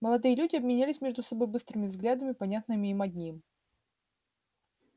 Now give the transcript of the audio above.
молодые люди обменялись между собой быстрыми взглядами понятными им одним